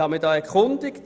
Ich habe mich erkundigt: